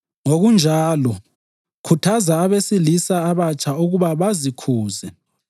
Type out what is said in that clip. Ngokunjalo, khuthaza abesilisa abatsha ukuba bazikhuze.